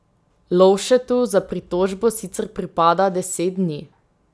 Lovšetu za pritožbo sicer pripada deset dni.